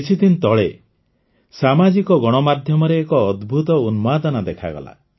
କିଛିଦିନ ତଳେ ସାମାଜିକ ଗଣମାଧ୍ୟମରେ ଏକ ଅଦ୍ଭୁତ ଉନ୍ମାଦନା ଦେଖାଗଲା